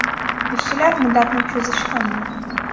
Ishchilar muddatni cho‘zishi ham mumkin.